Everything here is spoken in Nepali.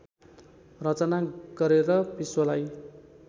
रचना गरेर विश्वलाई